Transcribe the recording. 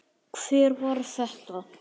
Hver var þetta?